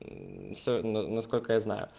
все насколько я знаю